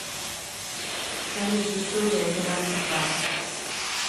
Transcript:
салют история операций карт